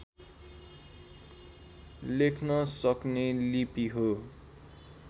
लेख्न सक्ने लिपि हो